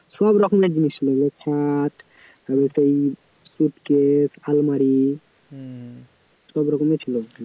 সবরকমের জিনিস ছিল, খাট ওই suitcase আলমারি হম সবরকম ছিল ওখানে